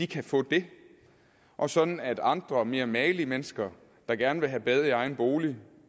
kan få det og sådan at andre mere magelige mennesker der gerne vil have bad i egen bolig